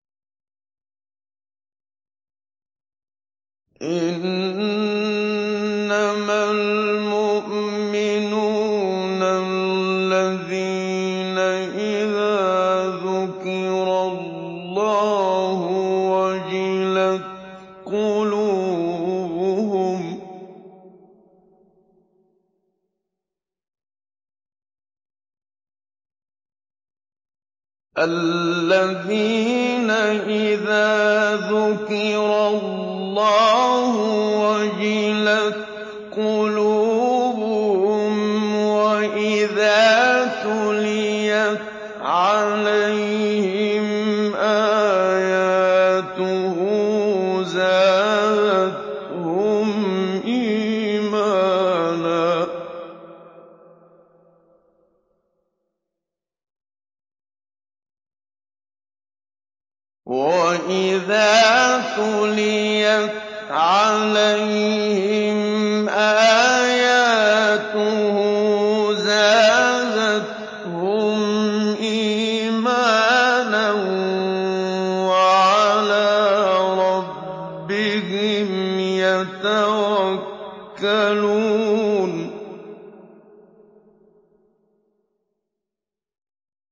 إِنَّمَا الْمُؤْمِنُونَ الَّذِينَ إِذَا ذُكِرَ اللَّهُ وَجِلَتْ قُلُوبُهُمْ وَإِذَا تُلِيَتْ عَلَيْهِمْ آيَاتُهُ زَادَتْهُمْ إِيمَانًا وَعَلَىٰ رَبِّهِمْ يَتَوَكَّلُونَ